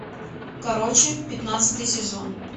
короче пятнадцатый сезон